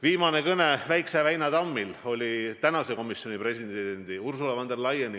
Viimane kõne Väikse väina tammi teemal oli komisjoni presidendi Ursula von der Leyeniga.